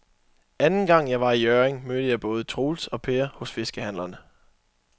Anden gang jeg var i Hjørring, mødte jeg både Troels og Per hos fiskehandlerne.